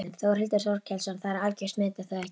Þórhildur Þorkelsdóttir: Það er algjört met er það ekki?